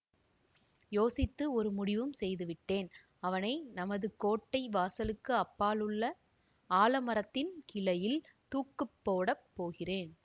யோசித்து ஒரு முடிவும் செய்து விட்டேன் அவனை நமது கோட்டை வாசலுக்கு அப்பாலுள்ள ஆலமரத்தின் கிளையில் தூக்கு போடப் போகிறேன்